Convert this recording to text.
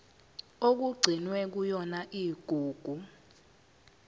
okugcinwe kuyona igugu